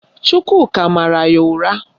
Chukwuka mara ya ụra